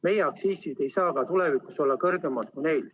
Meie aktsiisid ei tohiks ka tulevikus olla kõrgemad kui neil.